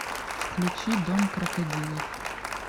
включи дом крокодилов